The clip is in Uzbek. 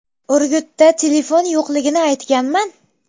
Urgutda telefon yo‘qligini aytganman.